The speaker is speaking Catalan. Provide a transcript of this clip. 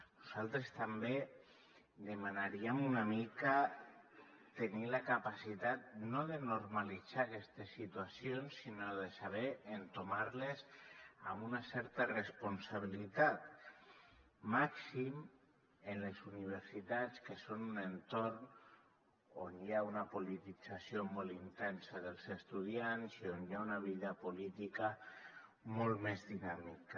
nosaltres també demanaríem una mica tenir la capacitat no de normalitzar aquestes situacions sinó de saber entomar les amb una certa responsabilitat màxim en les universitats que són un entorn on hi ha una politització molt intensa dels estudiants i on hi ha una vida política molt més dinàmica